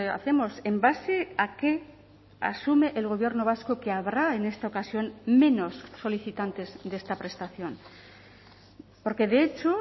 hacemos en base a qué asume el gobierno vasco que habrá en esta ocasión menos solicitantes de esta prestación porque de hecho